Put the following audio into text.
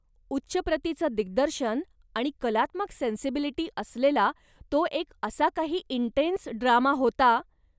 उच्च प्रतीचं दिग्दर्शन आणि कलात्मक सेन्सिबिलिटी असलेला तो एक असा काही इन्टेन्स ड्रामा होता...